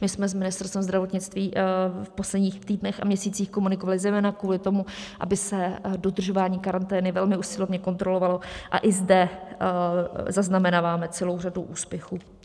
My jsme s Ministerstvem zdravotnictví v posledních týdnech a měsících komunikovali zejména kvůli tomu, aby se dodržování karantény velmi usilovně kontrolovalo, a i zde zaznamenáváme celou řadu úspěchů.